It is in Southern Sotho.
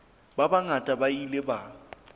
ba bangata ba ile ba